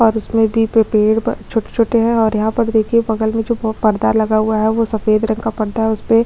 और इसमें भी पेड़ पर छोटे - छोटे है और यहाँ पर देखिये बगल में जो पर्दा लगा हुआ है वो सफ़ेद रंग का पर्दा है उसपे --